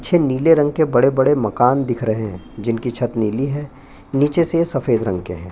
पीछे नीले रंग के बड़े-बड़े मकान दिख रही है जिनकी छत नीली है नीचे से सफेद रंग की है।